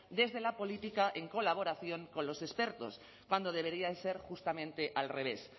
desde la política en colaboración con los expertos cuando debería ser justamente al revés